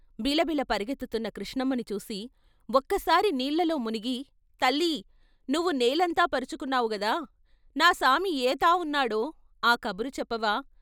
బిలబిల పరుగెత్తు తున్న కృష్ణమ్మని చూసి ఒక్కసారి నీళ్ళలో మునిగి తల్లీ ! నువ్వు నేలంతా పరుచుకున్నావు గదా, నా సామి ఏ తావున్నాడో ఆ కబురు చెప్పవా?